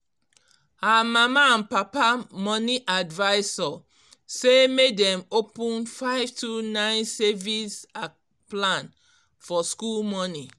um her mama and papa money advisor say make dem open five two nine savings um plan for school money